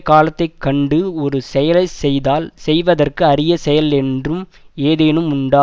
காலத்தை கண்டு ஒரு செயலை செய்தால் செய்வதற்கு அரிய செயல் என்றும் ஏதேனும் உண்டா